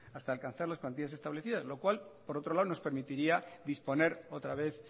hasta alcanzar las cuantías establecidas lo cual por otro lado nos permitiría disponer otra vez